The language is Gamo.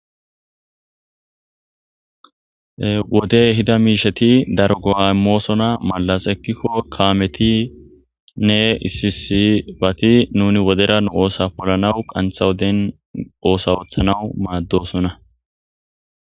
Wodey eda miisheti daro go'amoosona mallas ekkikko kaametinne isisibati nuni wodera nu oosa polanawu qantha woden oosa oothanaw maaddosona.